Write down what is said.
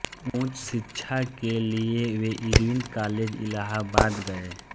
उच्च शिक्षा के लिए वे इर्विन कॉलेज इलाहाबाद गये